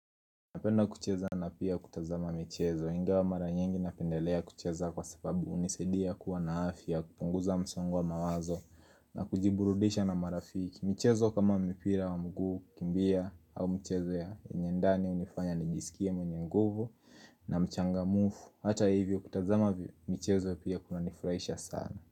Napenda kucheza na pia kutazama michezo, ingawa mara nyingi napendelea kucheza kwa sababu unisadia kuwa na afya, kupunguza msongo mawazo na kujiburudisha na marafiki. Mchezo kama mipira wa mguu, kukimbia au mchezo ya nyendani hunifanya nijisikie mwenye nguvu na mchanga mufu, hata hivyo kutazama mchezo pia kuna nifurahisha sana.